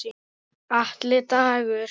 Atli Dagur.